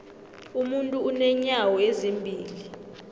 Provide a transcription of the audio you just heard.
umuntu unenyawo ezimbili